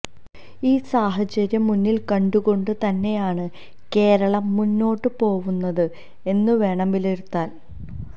ഈ സാഹചര്യം മുന്നിൽ കണ്ടുകൊണ്ട് തന്നെയാണ് കേരളം മുന്നോട്ട് പോവുന്നത് എന്ന് വേണം വിലയിരുത്താൻ